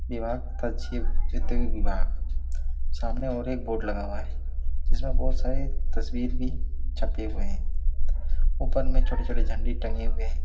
दीवार सामने और एक बोर्ड लगा हुआ है जिसमें बहोत सारी तस्वीर भी छपे हुए है ऊपर में छोटे-छोटे झंडे टंगे हुए है।